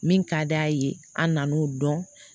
Min ka d'a ye an nan'o dɔn